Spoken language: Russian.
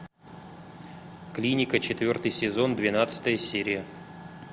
клиника четвертый сезон двенадцатая серия